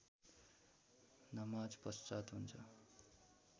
नमाजपश्चात् हुन्छ